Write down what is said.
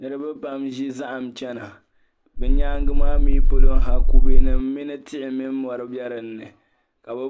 Niriba pam n-ʒi zahim chana bɛ nyaaŋga maa mi polo ha kubenima mini tihi mini mɔri dinni ka bɛ